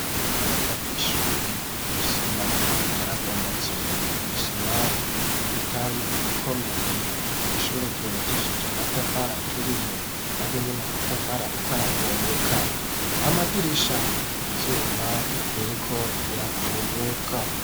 Urubaraza rw'ishuri isima yarabomotse n'isima itari ikomeye, ishure ryubakishije amatafari aturiye naryo nyene amatafari ariko aravunguka, amadirisha, ivyuma biriko birakunyuka.